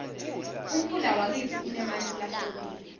umfula wakitsi unemanti lahlobile